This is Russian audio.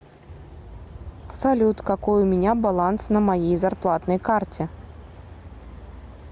салют какой у меня баланс на моей зарплатной карте